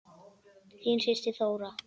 Þín systir Þóra.